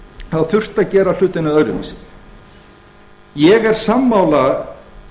þá þurfti að gera hlutina öðruvísi ég er sammála